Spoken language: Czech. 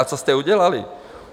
A co jste udělali?